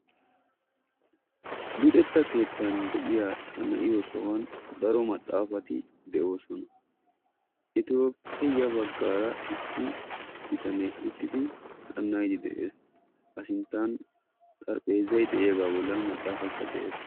Luxetta keettan de'iyaa xana"iyoo sohuwaan daro maxaafati de'oosona. etuppe ya baggaara issi bitanee uttidi xana"idi de'ees. a sinttan xarphpheezzay de'iyaagaa bollan maxaafaykka de'ees.